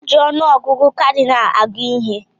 Eji ọnụ ọgụgụ kadịnal agụ ihe